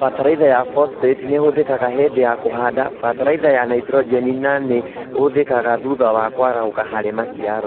Bataraitha ya phosphate nĩĩhũthĩkaga hĩndĩ ya kũhanda bataraitha ya naitrojeni nanĩ hũthĩkaga thutha wa kwarahũka harĩ maciaro